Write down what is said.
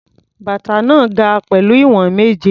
Bàtà náà ga pẹ̀lú ìwọ̀n méje.